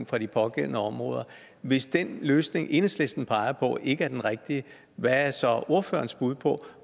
fra de pågældende områder hvis den løsning enhedslisten peger på ikke er den rigtige hvad er så ordførerens bud på